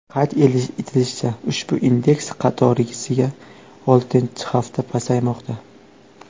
Qayd etilishicha, ushbu indeks qatorasiga oltinchi hafta pasaymoqda.